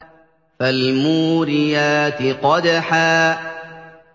فَالْمُورِيَاتِ قَدْحًا